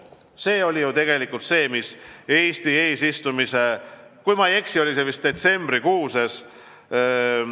See sai loodud Eesti eesistumise ajal, kui ma ei eksi, siis detsembris.